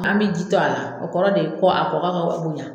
An bi ji to a la o kɔrɔ de kɔ a ko a